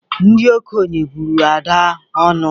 Ndị okenye bụrụ Ada ọnụ.